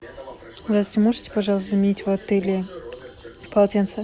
здравствуйте можете пожалуйста заменить в отеле полотенце